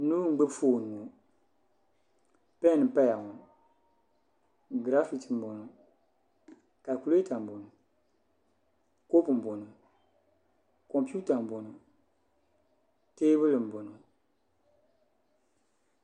Noo n gbubi foon ŋo pɛn n paya graphic n boŋo kalkulɛta n boŋo kopu n boŋo komputa nboŋaŋ teebuli n boŋo